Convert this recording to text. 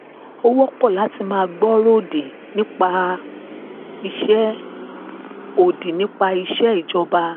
ó wọ́pọ̀ láti gbọ́ àwọn ọ̀rọ̀ òdì nípa iṣẹ́ òdì nípa iṣẹ́ ìjọba